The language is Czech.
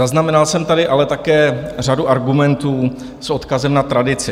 Zaznamenal jsem tady ale také řadu argumentů s odkazem na tradici.